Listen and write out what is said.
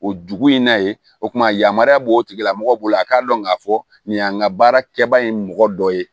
O dugu in na yen o tuma yamaruya b'o tigila mɔgɔ bolo a k'a dɔn k'a fɔ nin y'an ka baarakɛbaa ye mɔgɔ dɔ ye